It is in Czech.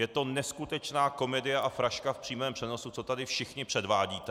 Je to neskutečná komedie a fraška v přímém přenosu, co tady všichni předvádíte.